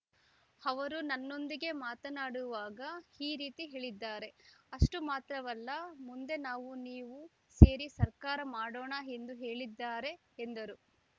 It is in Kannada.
ಅವರು ನನ್ನೊಂದಿಗೆ ಮಾತನಾಡುವಾಗ ಈ ರೀತಿ ಹೇಳಿದ್ದಾರೆ ಅಷ್ಟುಮಾತ್ರವಲ್ಲ ಮುಂದೆ ನಾವು ನೀವು ಸೇರಿ ಸರ್ಕಾರ ಮಾಡೋಣ ಎಂದೂ ಹೇಳಿದ್ದಾರೆ ಎಂದರು